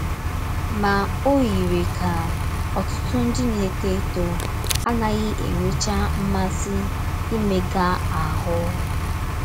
Ma ọ yiri ka ọtụtụ ndị na - etọ etọ anaghị enwecha mmasị imega ahụ́.